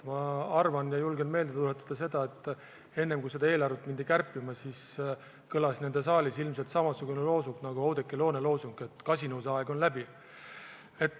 Ma julgen meelde tuletada, et enne kui seda eelarvet hakati kärpima, kõlas nende saalis ilmselt samasugune loosung nagu täna Oudekki Loone loosung, et kasinuse aeg on läbi.